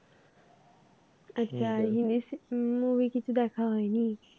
আচ্ছা আর english movie কিছু দেখা হয়নি?